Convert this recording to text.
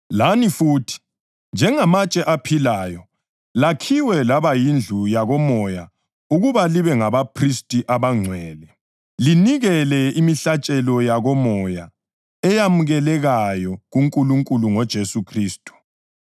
lani futhi, njengamatshe aphilayo lakhiwa laba yindlu yakomoya ukuba libe ngabaphristi abangcwele, linikela imihlatshelo yakomoya eyamukelekayo kuNkulunkulu ngoJesu Khristu.